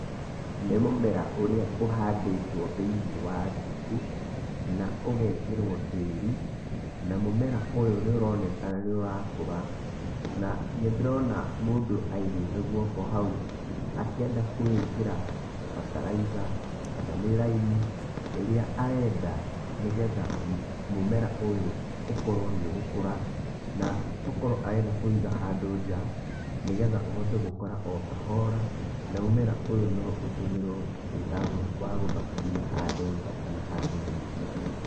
Nĩ mũmera ũrĩa ũhandĩtwo thĩini wa thuku na ũgekĩrwo tĩri na mũmera ũyũ nĩ ũroneka nĩ ũrakũra. Na nĩ ndĩrona mũndũ aigĩke gũoko hau akĩenda kũwĩkĩra bataraitha kana nĩ raimu akĩenda nĩgetha mũmera ũyũ ũkorwo nĩ ũgũkũra. Nokorwo arenda kũũiga handũ nja nĩgetha ũhote gũkũra o kahora na nĩgetha mũmera ũyũ ũtũmĩrwo wĩwagũthakaria handũ nja kana handũ thĩiniĩ.